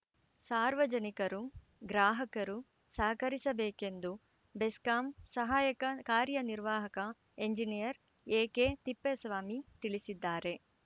ಸಾರ್ವಜನಿಕರು ಗ್ರಾಹಕರು ಸಹಕರಿಸಬೇಕೆಂದು ಬೆಸ್ಕಾಂ ಸಹಾಯಕ ಕಾರ್ಯನಿರ್ವಾಹಕ ಎಂಜಿನಿಯರ್‌ ಎಕೆ ತಿಪ್ಪೇಸ್ವಾಮಿ ತಿಳಿಸಿದ್ದಾರೆ